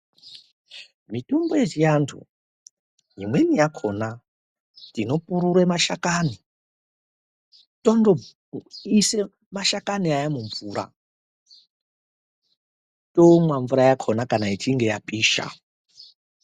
Mitombo yechiandu imweni yakona tinopurura mashakani tondoisa mashakani aya mumvura tomwa mvura yakona kana ichinge yapisha.